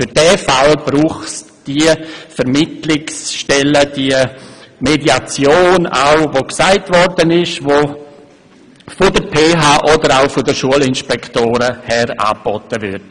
Für solche Fälle braucht es diese Vermittlungsstellen oder auch die Mediation, die von der PH oder von den Schulinspektoren her angeboten wird.